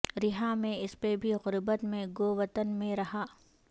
رہا میں اس پہ بھی غربت میں گو وطن میں رہا